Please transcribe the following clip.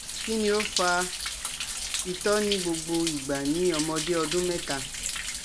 Kini o fa ito ni gbogbo igba ni omode odun meta?